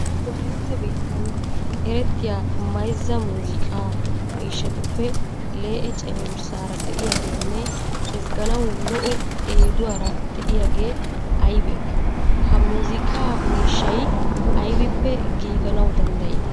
Wolaytta biittan erettiya mayzza muuziiqaa miishshatuppe lee'e cenggurssaara de'iyageenne ezgganawu lo"o eeduwara de'iyagee aybee? Ha muuziiqaa miishshay aybippe giiganawu danddayii?